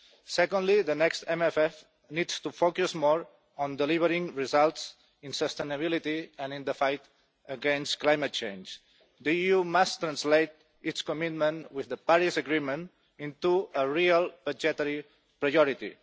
Secondly, the next MFF needs to focus more on delivering results in sustainability and in the fight against climate change. The EU must translate its commitment to the Paris Agreement into a real budgetary majority.